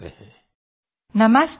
audio UNESCO DG